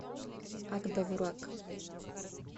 ак довурак